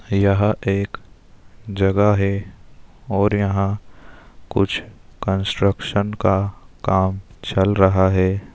यह एक जगह है और यहाँ कुछ कंस्ट्रक्शन का काम चल रहा है |